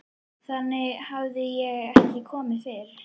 Þangað hafði ég ekki komið fyrr.